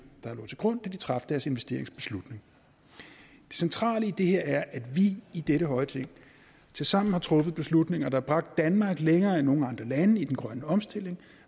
der lå til grund da de traf deres investeringsbeslutning det centrale i det her er at vi i dette høje ting tilsammen har truffet beslutninger der har bragt danmark længere end nogen andre lande i den grønne omstilling